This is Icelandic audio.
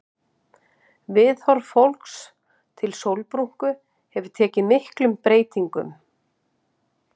Viðhorf fólks til sólbrúnku hefur tekið miklum breytingum.